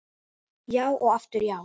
Já og aftur já.